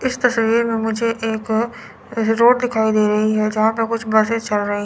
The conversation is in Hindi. इस तस्वीर में मुझे एक रोड दिखाई दे रही है। जहां पे कुछ बस चल रही।